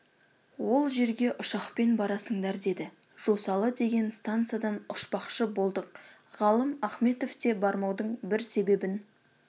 ол жерге ұшақпен барасыңдар деді жосалы деген стансадан ұшпақшы болдық ғалым ахметов те бармаудың бір себебін